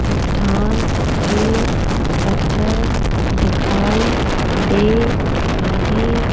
चटान के पत्थर दिखाई दे रहे--